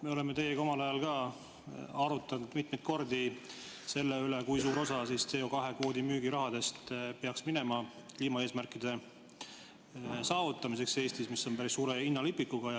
Me oleme teiega omal ajal arutanud mitmeid kordi selle üle, kui suur osa CO2 kvoodi müügi rahast peaks minema kliimaeesmärkide saavutamiseks Eestis, mis on päris suure hinnalipikuga.